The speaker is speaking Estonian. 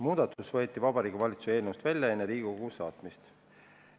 Muudatus võeti Vabariigi Valitsuses eelnõust välja enne, kui see Riigikogusse saadeti.